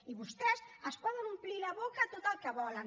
i vostès es poden omplir la boca tot el que volen